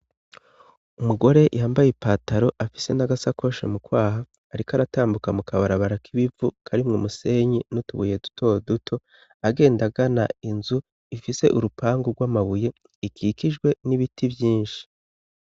Umugore yhambaye i pataro afise n'agasakosha mu kwaha, ariko aratambuka mu kabarabara k'ibivu karimwe umusenyi n'utubuye dutoduto agenda gana inzu ifise urupangu rw'amabuye ikikijwe n'ibiti vyinshi.